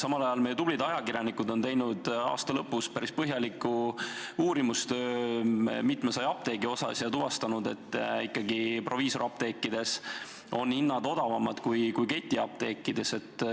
Samal ajal meie tublid ajakirjanikud on teinud aasta lõpus päris põhjaliku uurimistöö mitmesaja apteegi kohta ja tuvastanud, et proviisoriapteekides on hinnad odavamad kui ketiapteekides.